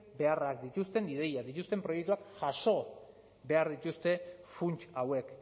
beharrak dituzten ideiak dituzten proiektuak jaso behar dituzte funts hauek